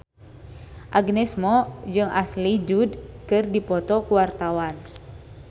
Agnes Mo jeung Ashley Judd keur dipoto ku wartawan